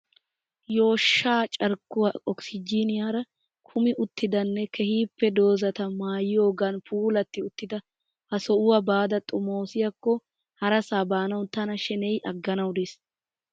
Yooshsha carkkuwaa okisijjiniyaara kumi uttidanne keehippe dozata maayiyogan puulatti uttida ha sohuuwa baada xomosiyakko harasa baanawu tana sheneyi agganawu dees.